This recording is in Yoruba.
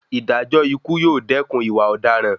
Ìdájọ́ ikú yóò dẹkùn ìwà ọ̀daràn